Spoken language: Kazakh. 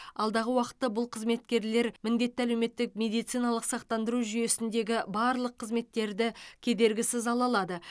алдағы уақытта бұл қызметкерлер міндетті әлеуметтік медициналық сақтандыру жүйесіндегі барлық қызметтерді кедергісіз ала алады